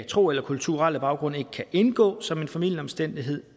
tro eller kulturel baggrund ikke kan indgå som en formildende omstændighed